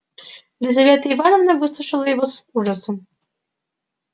лизавета ивановна выслушала его с ужасом